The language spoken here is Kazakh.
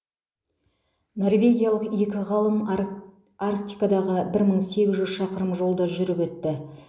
норвегиялық екі ғалым арк арктикадағы бір мың сегіз жүз шақырым жолды жүріп өтті